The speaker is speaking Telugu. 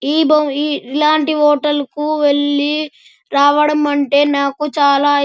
ఇలాంటి హోటల్ కి వెళ్లి రావడం అంటే నాకు చాలా ఇష్టం.